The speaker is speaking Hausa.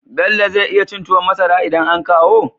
Bello zai iya cin tuwon masara idan an kawo?